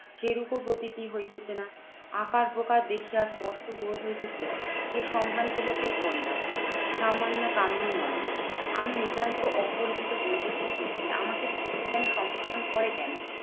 সে রূপও প্রতীকী হইতেছে না। আকার প্রকার দেখিয়া স্পষ্ট বোধ হইতেছে এ সমভ্রান্ত লোকের কন্যা সামান্য কামিনী নহে। আমি নিতান্ত অপরিচিত বৈদেশিক ব্যক্তি। আমাকে পতি কেন সম্ভাষণ করে কেন?